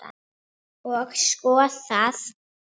Og skoðað.